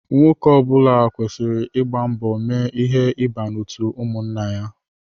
Nwoke ọbula kwesịrị ịgba mbọ mee ihe ịba n'otu ụmụnna ya.